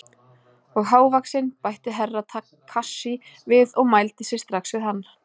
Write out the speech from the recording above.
Og hávaxinn, bætti Herra Takashi við og mældi sig strax við hann.